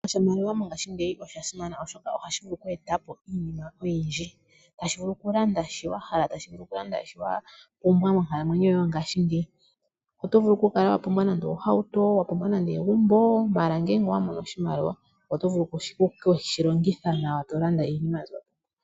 Oshimaliwa mongashingeyi osha simana molwaashoka ohashi vulu oku eta po iinima oyindji, tashi vulu okulanda shi wa hala, tashi vulu okulanda shi wa pumbwa monkalamwenyo yoye yongashingeyi. Oto vulu okukala wapumbwa nande ohauto, wapumbwa nande egumbo mala ngele owamono oshimaliwa oto vulu okushilongitha nawa to lamda iinima mbyo.